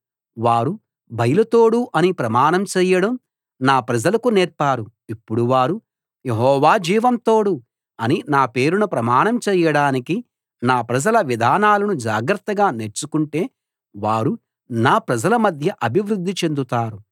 వారు బయలు తోడు అని ప్రమాణం చేయడం నా ప్రజలకు నేర్పారు ఇప్పుడు వారు యెహోవా జీవం తోడు అని నా పేరున ప్రమాణం చేయడానికి నా ప్రజల విధానాలను జాగ్రత్తగా నేర్చుకుంటే వారు నా ప్రజల మధ్య అభివృద్ధి చెందుతారు